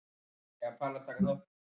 Maríuerla, lækkaðu í græjunum.